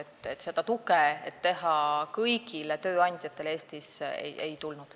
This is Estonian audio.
Tuge, et teha see kohustuslikuks kõigile tööandjatele Eestis, ei tulnud.